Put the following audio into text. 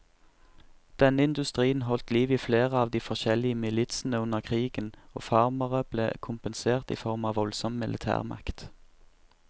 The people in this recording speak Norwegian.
Denne industrien holdt liv i flere av de forskjellige militsene under krigen, og farmerne ble kompensert i form av voldsom militærmakt.